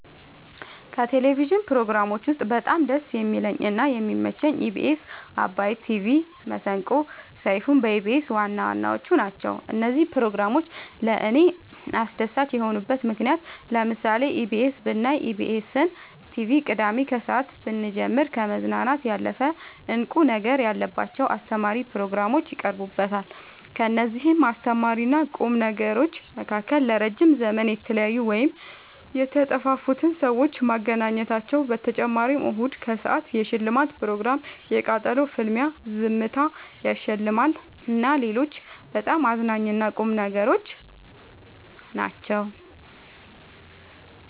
ከቴሌቭዥን ፕሮግራሞች ውስጥ በጣም ደስ የሚለኝ እና የሚመቸኝ ኢቢኤስ አባይ ቲቪ መሰንቆ ሰይፋን በኢቢኤስ ዋናዋናዎቹ ናቸው። እነዚህ ፕሮግራሞች ለእኔ አስደሳች የሆኑበት ምክንያት ለምሳሌ ኢቢኤስ ብናይ ኢቢኤስን ቲቪ ቅዳሜ ከሰአት ብንጀምር ከመዝናናት ያለፈ እንቁ ነገር ያለባቸው አስተማሪ ፕሮግራሞች ይቀርቡበታል ከእነዚህም አስተማሪና ቁም ነገሮች መካከል ለረዥም ዘመን የተለያዩን ወይም የተጠፋፉትን ሰዎች ማገናኘታቸው በተጨማሪም እሁድን ከሰአት የሽልማት ፕሮግራም የቃጠሎ ፍልሚያ ዝምታ ያሸልማል እና ሌሎችም በጣም አዝናኝ እና ቁም ነገሮች ናቸው።